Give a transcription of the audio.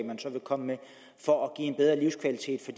man så vil komme med for at give en bedre livskvalitet